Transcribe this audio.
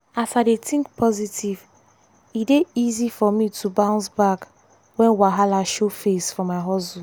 as i dey think positive e dey easy for me to bounce back when wahala show face for my hustle.